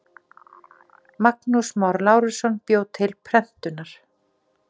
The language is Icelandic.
Magnús Már Lárusson bjó til prentunar.